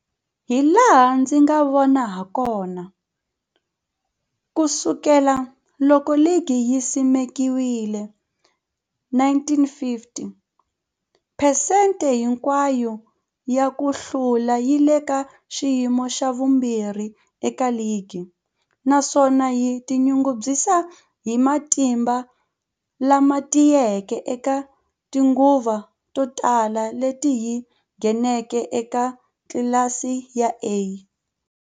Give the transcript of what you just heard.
Hilaha ndzi nga vona hakona, ku sukela loko ligi yi simekiwile, 1950, phesente hinkwayo ya ku hlula yi le ka xiyimo xa vumbirhi eka ligi, naswona yi tinyungubyisa hi matimba lama tiyeke eka tinguva to tala leti yi ngheneke eka tlilasi ya A.